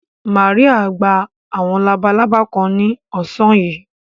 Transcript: Mary gba àwọn labalábá kan ní ọ̀sán yìí.